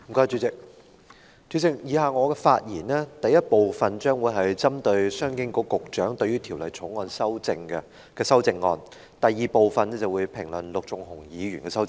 主席，我以下的發言，第一部分將會針對商務及經濟發展局局長對《旅遊業條例草案》提出的修正案，而第二部分評論陸頌雄議員的修正案。